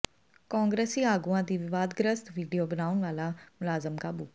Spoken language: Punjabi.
ਕਾਂਗਰਸੀ ਆਗੂਆਂ ਦੀ ਵਿਵਾਦਗ੍ਰਸਤ ਵੀਡੀਓ ਬਣਾਉਣ ਵਾਲਾ ਮੁਲਜ਼ਮ ਕਾਬੂ